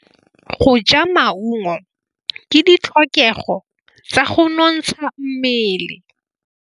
Go ja maungo ke ditlhokegô tsa go nontsha mmele.